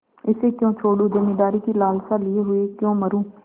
इसे क्यों छोडूँ जमींदारी की लालसा लिये हुए क्यों मरुँ